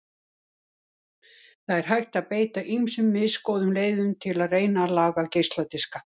Það er hægt að beita ýmsum misgóðum leiðum til að reyna að laga geisladiska.